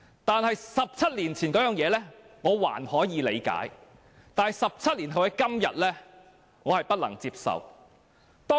不過 ，17 年前的情況，我尚可理解 ；17 年後今天的情況，我不能接受。